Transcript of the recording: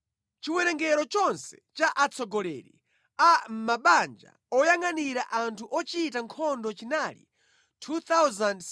Chiwerengero chonse cha atsogoleri a mʼmabanja oyangʼanira anthu ochita nkhondo chinali 2,600.